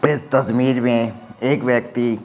इस कश्मीर में एक व्यक्ति--